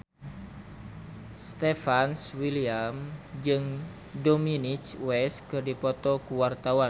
Stefan William jeung Dominic West keur dipoto ku wartawan